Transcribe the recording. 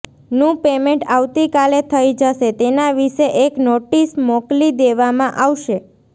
નું પેમેન્ટ આવતી કાલે થઇ જશે તેના વિષે એક નોટિસ મોકલી દેવા માં આવશે